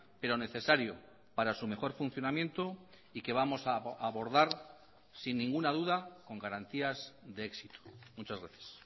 pero necesario para su mejor funcionamiento y que vamos a abordar sin ninguna duda con garantías de éxito muchas gracias